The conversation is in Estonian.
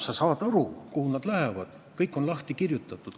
Sa saad aru, kuhu raha läheb, kõik on lahti kirjutatud.